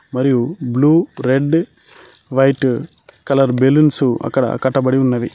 మరియు blue red white colour balloons అక్కడ కట్టబడి ఉన్నవి.